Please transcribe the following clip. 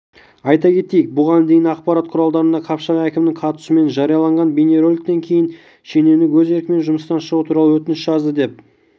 айта кетейік бұған дейін ақпарат құралдарында қапшағай әкімінің қатысуымен жарияланған бейнероликтен кейін шенеунік өз еркімен жұмыстан шығу туралы өтініш жазды деп